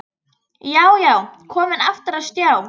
Já, já, komin aftur á stjá!